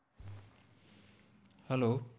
Hello